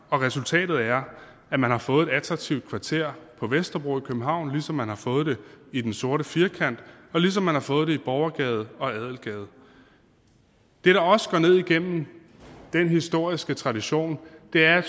resultatet er at man har fået et attraktivt kvarter på vesterbro i københavn ligesom man har fået det i den sorte firkant og ligesom man har fået det i borgergade og adelgade det der også går ned igennem den historiske tradition er